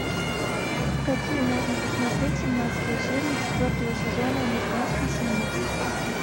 какие можно посмотреть семнадцатую серию четвертого сезона американская семейка